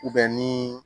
ni